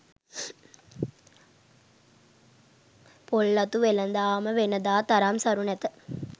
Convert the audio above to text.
පොල්ලතු වෙළඳාමද වෙනදා තරම් සරු නැත